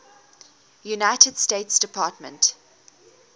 united states department